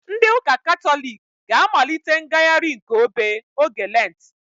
Ndị ụka katọlik ga-amalite ngagharị nke obe oge lentị